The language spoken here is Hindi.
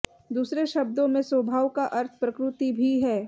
दूसरे शब्दों में स्वभाव का अर्थ प्रकृति भी है